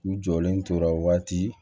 U jɔlen tora waati